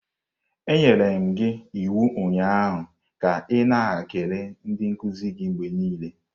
Anyere m gị iwu ụnyaahụ ka ị na-ekele ndị nkuzi gị mgbe niile!